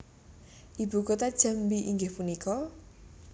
Ibu kota Jambi inggih punika?